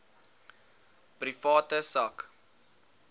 private sak